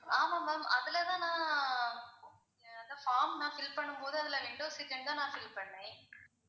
ஆமா ma'am அதுல தான் நான் form நான் fill பண்ணும் போது அதுல window seat ன்னு தான் fill பண்ணேன்.